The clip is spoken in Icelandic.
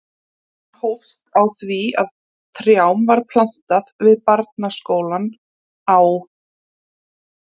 Hann hófst á því að trjám var plantað við barnaskólann á